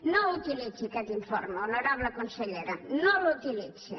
no utilitzi aquest informe honorable consellera no l’utilitzi